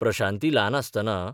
प्रशांती ल्हान आसतना